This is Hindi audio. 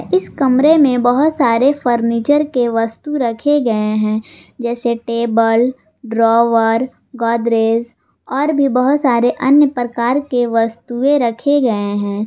इस कमरे में बहोत सारे फर्नीचर के वास्तु रखे गए हैं जैसे टेबल ड्रावर गोदरेज और भी बहुत सारे अन्य प्रकार के वस्तुएं रखे गए हैं।